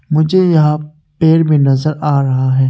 मुझे यहां पेड़ भी नजर आ रहा है।